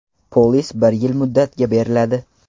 Polis bir yil muddatga beriladi.